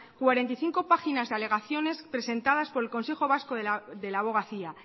cuarenta y cinco páginas de alegaciones presentadas por el consejo vasco de la abogacía